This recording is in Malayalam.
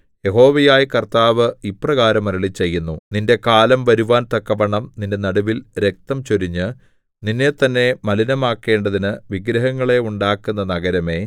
യഹോവയായ കർത്താവ് ഇപ്രകാരം അരുളിച്ചെയ്യുന്നു നിന്റെ കാലം വരുവാൻ തക്കവണ്ണം നിന്റെ നടുവിൽ രക്തം ചൊരിഞ്ഞ് നിന്നെത്തന്നെ മലിനമാക്കേണ്ടതിന് വിഗ്രഹങ്ങളെ ഉണ്ടാക്കുന്ന നഗരമേ